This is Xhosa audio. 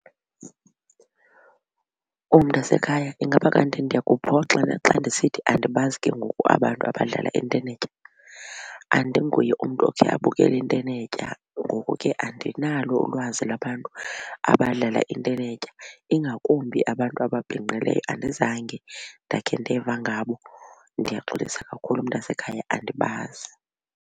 Oh mntasekhaya ingaba kanti ndiyakuphoxa na xa ndisithi andibazi ke ngoku abantu abadlala intenetya. Andinguye umntu okhe abukele intenetya, ngoku ke andinalo ulwazi lwabantu abadlala intenetya ingakumbi abantu ababhinqileyo andizange ndakhe ndeva ngabo, ndiyaxolisa kakhulu mntasekhaya andibazi.